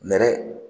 Nɛrɛ